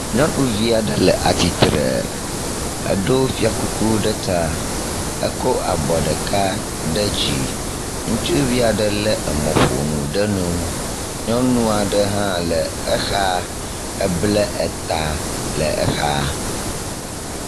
Nyɔnuvia ɖe le atitre, eɖo fiakuku ɖe ta, ekɔ abɔ ɖeka ɖe dzi, ŋutsuvia ɖe lé emɔƒonu ɖe nu, nyɔnua ɖe hã le exa eble eta le exa.